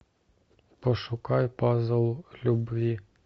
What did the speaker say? пошукай пазл любви